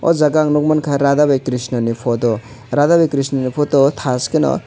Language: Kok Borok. o jaga ang nuk mangkha radha bai krishna ni photo radha bai krishna ni photo thaskheno.